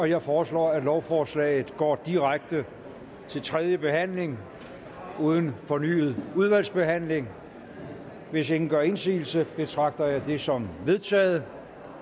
jeg foreslår at lovforslaget går direkte til tredje behandling uden fornyet udvalgsbehandling hvis ingen gør indsigelse betragter jeg det som vedtaget